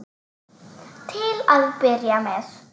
Til að byrja með.